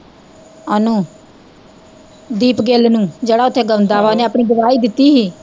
ਓਹਨੂੰ ਦੀਪ ਗਿੱਲ ਨੂੰ, ਜਿਹੜਾ ਓਥੇ ਗਾਉਂਦਾ ਵਾਂ ਓਹਨੇ ਆਪਨੀ ਗਵਾਹੀ ਦਿੱਤੀ ਸੀ